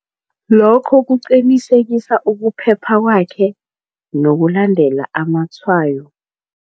Lokho kuqinisekisa ukuphepha kwakhe nokulandela amatshwayo.